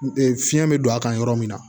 fiɲɛ bɛ don a kan yɔrɔ min na